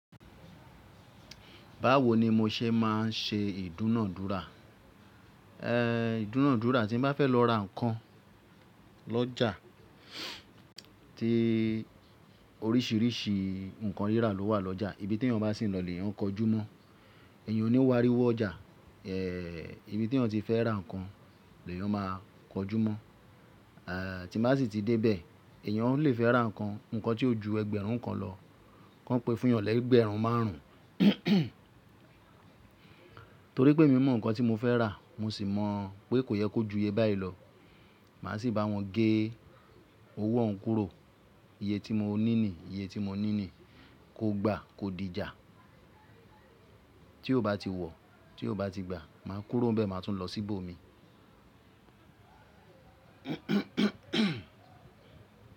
Báwo ni mo ṣe má a ń ṣe ìdúnadúrà? Ehn, ìdúnadúrà tí n bá fẹ́ lọ ra ǹkan lọ́jà tí oríṣìíríṣìí ǹkan rírà ló wà lọ́jà, ibi tí ẹeyan bá sì ń lọ lèeyàn n kọjú mọ́. Eèyàn ò ní wo áríwọ́ ọjà. Ehn, ibi tí ẹeyan ti fẹ́ ra ǹkan lèeyàn máa kọjú mọ́. Ehn, tí n bá sì ti dé bẹ̀ ẹeyan o le fẹ́ ra nkan, ǹkan tí ó ju ẹgbẹ̀rún kan lọ, kan pé fun eeyàn lẹ́gbẹ̀ẹ́rún márùn ún. Torí pé emi mọ̀ ǹkan tí mo fẹ́ rà mo sì mọ̀ pé kò yẹ kó ju iye báyìí lọ. Màá sì bá wọn gé owó òhun kúrò. Iye tí mo ní niyi iye tí mo ní ni. Kó gba, kó di ijà. Tí ó bá ti wọ̀, tí ó bá ti gba, màá kúrò n bẹ̀, màá tún lọ sí ibò mi.